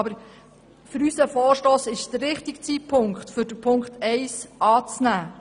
Aber für unseren Vorstoss stimmt der Zeitpunkt, um Ziffer 1 anzunehmen.